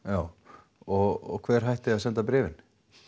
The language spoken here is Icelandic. já og hver hætti að senda bréfin